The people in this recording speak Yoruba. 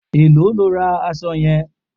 Èló lo ra aṣọ yẹn?